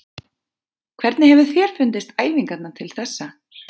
Hvernig hefur þér fundist æfingarnar til þessa?